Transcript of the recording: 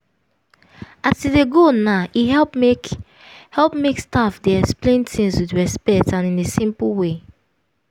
as e dey go now e help make help make staff dey explain things with respect and in a simple way.